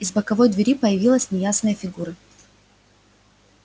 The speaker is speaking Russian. из боковой двери появилась неясная фигура